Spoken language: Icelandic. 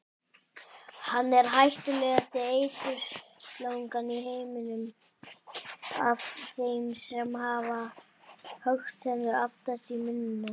Hann er hættulegasta eiturslangan í heiminum af þeim sem hafa höggtennur aftast í munninum.